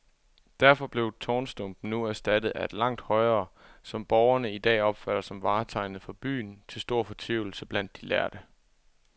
Derfor blev tårnstumpen nu erstattet af et langt højere, som borgerne i dag opfatter som vartegnet for byen, til stor fortvivlelse blandt de lærde.